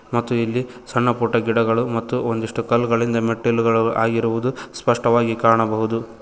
ಮತ್ತು ಇಲ್ಲಿ ಸಣ್ಣ ಪುಟ್ಟ ಗಿಡಗಳು ಮತ್ತು ಒಂದಿಷ್ಟು ಕಲ್ಲಗಳಿಂದ ಮೆಟ್ಟಿಲುಗಳು ಆಗಿರುವುದು ಸ್ಪಷ್ಟವಾಗಿ ಕಾಣಬಹುದು.